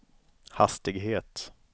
hastighet